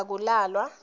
akulalwe